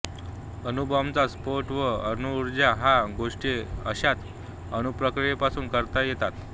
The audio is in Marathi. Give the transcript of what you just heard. अणुबॉंबचा स्फोट व अणुऊर्जा ह्या गोष्टी अशाच अणुप्रक्रीयांपासून करता येतात